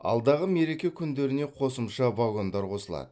алдағы мереке күндеріне қосымша вагондар қосылады